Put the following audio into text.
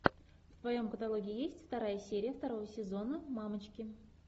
в твоем каталоге есть вторая серия второго сезона мамочки